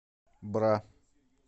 бра